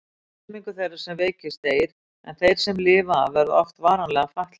Helmingur þeirra sem veikist deyr en þeir sem lifa af verða oft varanlega fatlaðir.